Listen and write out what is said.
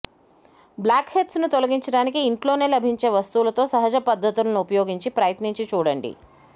black heads ను తొలగించడానికి ఇంట్లోనే లభించే వస్తువలతో సహజ పద్దతులను ఉపయోగించి ప్రయత్నించి చూడండి